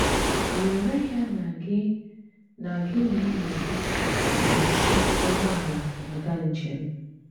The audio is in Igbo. Wèrè ya na gị na gị na ènỳí gị gà-jí ụgbọ̀àlà àgà njem.